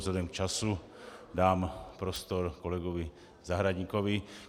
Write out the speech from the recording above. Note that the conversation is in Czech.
Vzhledem k času dám prostor kolegovi Zahradníkovi.